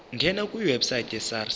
ngena kwiwebsite yesars